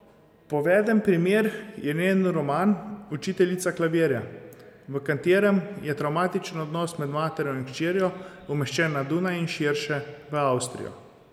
Poveden primer je njen roman Učiteljica klavirja, v katerem je travmatičen odnos med materjo in hčerjo umeščen na Dunaj in širše, v Avstrijo.